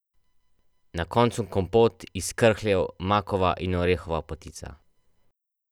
Na koncu kompot iz krhljev, makova in orehova potica.